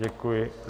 Děkuji.